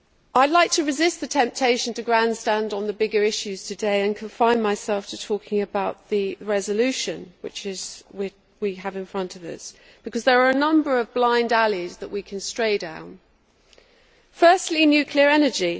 I would like to resist the temptation to grandstand on the bigger issues today and confine myself to talking about the resolution which we have in front of us, because there are a number of blind alleys that we can stray down. Firstly, nuclear energy.